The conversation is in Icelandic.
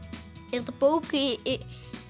er þetta bók í